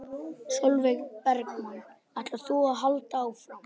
Sólveig Bergmann: Ætlar þú að halda áfram?